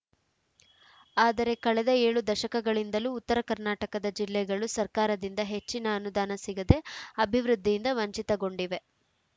ಆದರೆ ಕಳೆದ ಏಳು ದಶಕಗಳಿಂದಲೂ ಉತ್ತರ ಕರ್ನಾಟಕದ ಜಿಲ್ಲೆಗಳು ಸರ್ಕಾರದಿಂದ ಹೆಚ್ಚಿನ ಅನುದಾನ ಸಿಗದೆ ಅಭಿವೃದ್ಧಿಯಿಂದ ವಂಚಿತಗೊಂಡಿವೆ